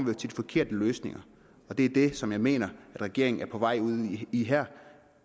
med de forkerte løsninger og det er det som jeg mener regeringen er på vej ud i her